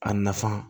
A nafa